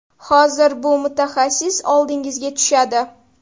Hozir, bir mutaxassis oldingizga tushadi.